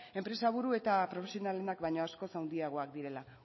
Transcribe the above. enpresaburu eta profesionalek baino askoz handiagoak direla